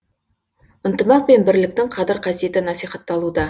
ынтымақ пен бірліктің қадір қасиеті насихатталуда